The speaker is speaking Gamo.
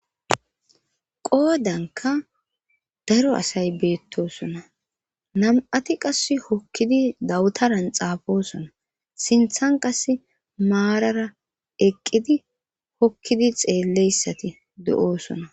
qoodanka daro asay beettosona nam7ati qas hokkidi dawutaran xaafosona sinthan qass maarara eqqidi hokkidi xeelleyssati do7oosona